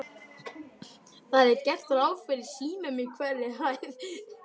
Það er gert ráð fyrir símum á hverri hæð.